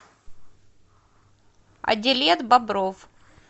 адилет бобров